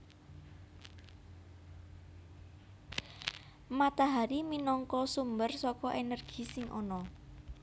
Matahari minangka sumber saka energi sing ana